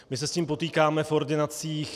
My se s tím potýkáme v ordinacích.